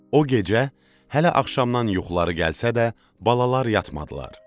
O gecə hələ axşamdan yuxuları gəlsə də, balalar yatmadılar.